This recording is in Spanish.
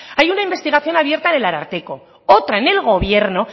hay una investigación abierta del ararteko otra en el gobierno